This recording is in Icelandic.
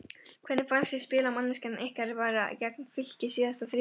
Hvernig fannst þér spilamennskan ykkar vera gegn Fylki síðasta þriðjudag?